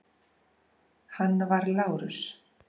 Hann var Lárus